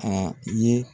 A ye